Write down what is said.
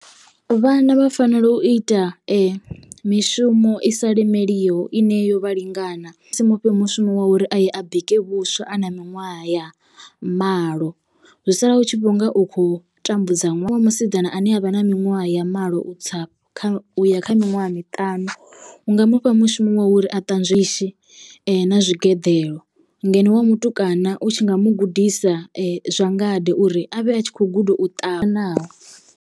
Vhana vha fanela u ita mishumo i sa lemeliho ine yo vha lingana ni nga si mufhe mushumo wa uri a ye a bike vhuswa a na miṅwaha ya malo, zwi sala u tshi vhonga u kho tambudza. Ṅwana wa musidzana ane avha na miṅwaha ya malo u tsa fhasi kha uya kha miṅwaha miṱanu unga mufha mushumo wa uri a ṱanzwe ndishi na tshigeḓelo ngeno wa mutukana u tshi nga mugudisa zwa ngade uri avhe a tshi kho guda u ṱavha naho.